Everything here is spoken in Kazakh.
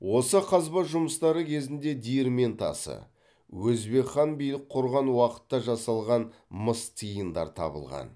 осы қазба жұмыстары кезінде диірмен тасы өзбек хан билік құрған уақытта жасалған мыс тиындар табылған